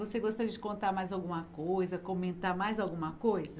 Você gostaria de contar mais alguma coisa, comentar mais alguma coisa?